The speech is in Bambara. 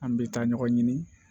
An bɛ taa ɲɔgɔn ɲini